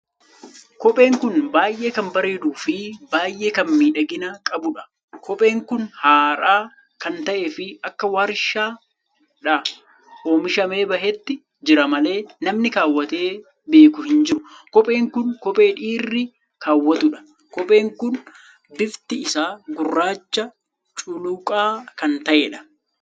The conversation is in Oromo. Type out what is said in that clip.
Kopheen kun baay'ee kan bareeduu fi baay'ee kan miidhagina kan qabuudha. kophee kun har'aa kan tahe fi akka warshaadhaa oomishamee baheetti jira malee namni kaawwatee beeku hin jiru. kophee kun kophee dhiirri kaawwatudha. kopheen kun bifti isaa gurraacha culuqaa kan taheedha.